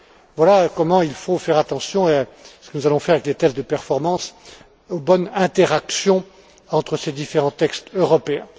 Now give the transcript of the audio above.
Voilà comment il faut faire attention et c'est ce que nous allons faire avec les tests de performance aux bonnes interactions entre ces différents textes européens.